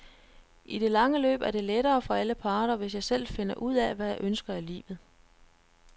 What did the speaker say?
I det lange løb er det lettere for alle parter, hvis jeg selv finder ud af, hvad jeg ønsker af livet.